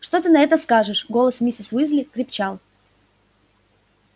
что ты на это скажешь голос миссис уизли крепчал